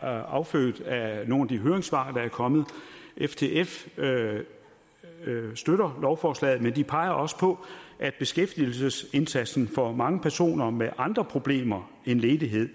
er affødt af nogle af de høringssvar der er kommet ftf støtter lovforslaget men de peger også på at beskæftigelsesindsatsen for mange personer med andre problemer end ledighed